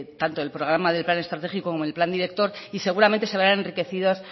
tanto del programa del plan estratégico como el plan director y seguramente se verán enriquecidos